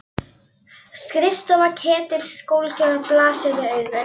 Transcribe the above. Skrifstofa Ketils skólastjóra blasir við augum.